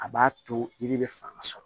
A b'a to yiri bɛ fanga sɔrɔ